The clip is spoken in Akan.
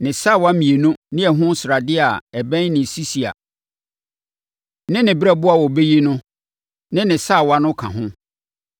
ne sawa mmienu ne ɛho sradeɛ a ɛbɛn ne sisia ne ne berɛboɔ a wɔbɛyi ɛno ne ne sawa no ka ho.